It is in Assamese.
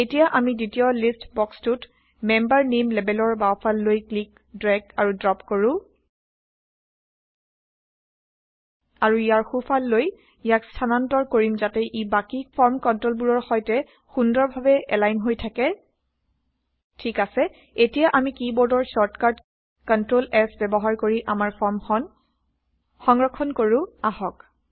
এতিয়া আমি দ্বিতীয় লিষ্ট বক্সটোত মেম্বাৰ নেইম লেবেলৰ বাওঁফাললৈ ক্লিক ড্ৰেগ আৰু ড্ৰ্প কৰো আৰু ইয়াৰ সোঁফাললৈ ইয়াক স্থানান্তৰ কৰিম যাতে ই বাকী ফৰ্ম কন্ট্ৰলবোৰৰ সৈতে সুন্দৰ ভাৱে এলাইনহৈ160 থাকে ঠিক আছে এতিয়া আমি কী বোৰ্ডৰ শ্বৰ্টকাট কন্ট্ৰল S ব্যৱহাৰ কৰি আমাৰ ফৰ্মখন সংৰক্ষন160কৰো আহক